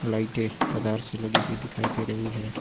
लाइटें कतार से लगी हुई दिखाई दे रही है।